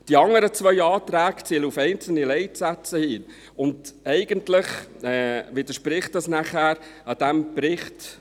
Die anderen beiden Anträge zielen auf einzelne Leitsätze, und eigentlich widerspricht dies nachher dem Bericht.